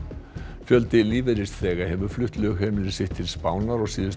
fjöldi lífeyrisþega hefur flutt lögheimili sitt til Spánar á síðustu